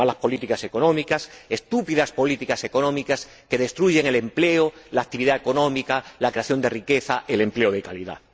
Malas políticas económicas, estúpidas políticas económicas que destruyen el empleo, la actividad económica, la creación de riqueza, el empleo de calidad.